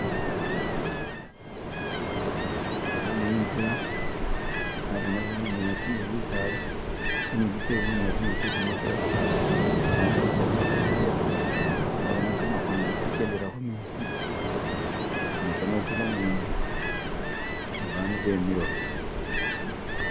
Naboone intsila, naboona bunyasi ne bisala, tsinzu tse bunyasi ni tse libaati, bandu bali ukhwamayo barurayo , naboona kamakhongolo kakendela khumetsi ne kametsi kamembi ne bandu bemilewo.